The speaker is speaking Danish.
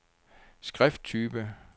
skrifttype